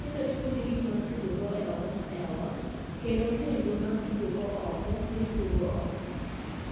Nyithindo tugo gi gik gi mag tugo e ot e ot kende kendo mag tugo go oko, gitugo go oko